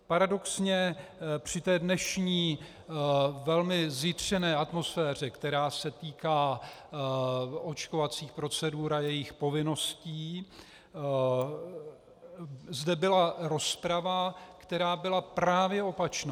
Paradoxně při té dnešní velmi zjitřené atmosféře, která se týká očkovacích procedur a jejich povinností, zde byla rozprava, která byla právě opačná.